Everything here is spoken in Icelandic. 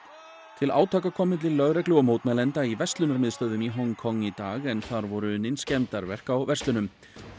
til átaka kom milli lögreglu og mótmælenda í verslunarmiðstöðvum í Hong Kong í dag en þar voru unnin skemmdarverk á verslunum